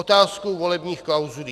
Otázka volebních klauzulí.